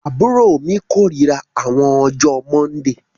Àbúrọ̀ mi kọ̀rírà àwọn ọjọ mọ́ndíì